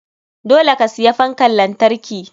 Dole ka siya fankan lantarki.